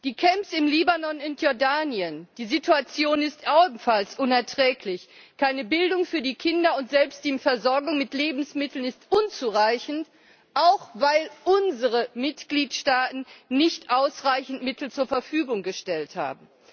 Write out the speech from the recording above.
Die Camps im Libanon und in Jordanien, die Situation ist ebenfalls unerträglich Keine Bildung für die Kinder, und selbst die Versorgung mit Lebensmitteln ist unzureichend, auch weil unsere Mitgliedstaaten nicht ausreichend Mittel zur Verfügung gestellt haben.